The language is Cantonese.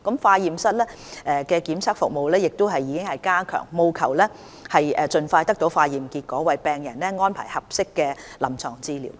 化驗室的檢測服務亦已加強，務求盡快得到化驗結果，為病人安排合適的臨床治療。